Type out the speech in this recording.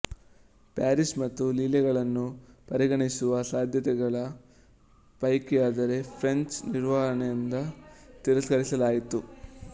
Paris ಮತ್ತು ಲಿಲ್ಲೆಗಳನ್ನು ಪರಿಗಣಿಸುವ ಸಾಧ್ಯತೆಗಳ ಪೈಕಿಆದರೆ ಫ್ರೆಂಚ್ಗೆ ನಿವಾರಣೆಯಾದ್ದರಿಂದ ತಿರಸ್ಕರಿಸಲಾಯಿತು